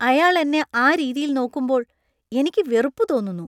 അയാൾ എന്നെ ആ രീതിയിൽ നോക്കുമ്പോൾ എനിക്ക് വെറുപ്പ് തോന്നുന്നു.